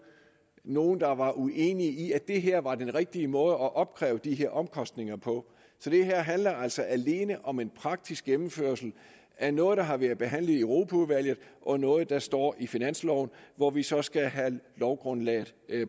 nogen der var uenige i at det her var den rigtige måde at opkræve de her omkostninger på så det her handler altså alene om en praktisk gennemførelse af noget der har været behandlet i europaudvalget og noget der står i finansloven hvor vi så skal have lovgrundlaget